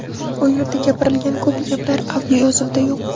U yerda gapirilgan ko‘p gaplar audioyozuvda yo‘q.